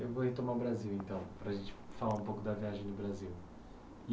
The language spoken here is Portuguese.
Eu vou retomar o Brasil, então, para a gente falar um pouco da viagem no Brasil.